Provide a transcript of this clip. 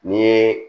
Ni